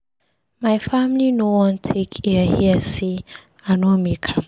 My family no wan take ear hear sey I no make am.